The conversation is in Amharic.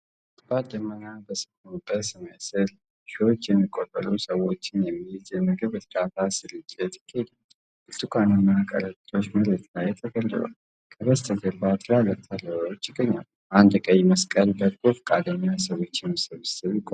ከባድ ደመና በሰፈነበት ሰማይ ሥር፣ ሺዎች የሚቆጠሩ ሰዎችን የሚይዝ የምግብ እርዳታ ስርጭት ይካሄዳል። ብርቱካናማ ከረጢቶች መሬት ላይ ተደርድረዋል፣ ከበስተጀርባ ትላልቅ ተራሮች ይገኛሉ። አንድ የቀይ መስቀል በጎ ፈቃደኛ የሰዎችን ስብስብ ይቆጣጠራል።